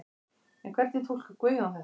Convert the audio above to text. En hvernig túlkar Guðjón þetta?